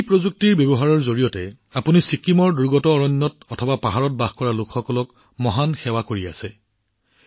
এই প্ৰযুক্তি ব্যৱহাৰ কৰি আপুনি ছিকিমৰ দূৰৱৰ্তী অৰণ্য আৰু পৰ্বতমালাত বাস কৰা লোকসকলৰ বাবে ইমান মহান সেৱা আগবঢ়াইছে